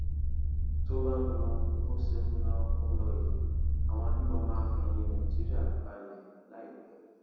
tó bá ń lọ bó ṣe ń lọ ń lọ yìí àwọn agbébọn máa fẹyìn nàìjíríà balẹ láìpẹ